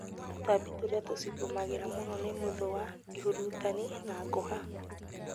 Tũtambi tũrĩa tucigũmagĩra mũno nĩ mũthũa, ihurutani na ngũha